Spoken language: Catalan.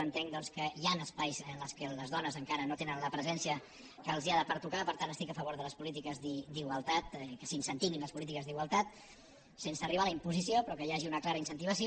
entenc que hi han espais en què les dones encara no tenen la presència que els ha de pertocar per tant estic a favor de les polítiques d’igualtat que s’incentivin les polítiques d’igualtat sense arribar a la imposició però que hi hagi una clara incentivació